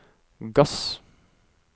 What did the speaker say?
gass